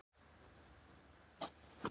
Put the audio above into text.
haldist óbreyttur í nær heila öld.